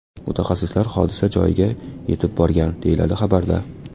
Mutaxassislar hodisa joyiga yetib borgan”, deyiladi xabarda.